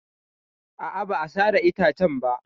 A'a, ba a sare itacen ba.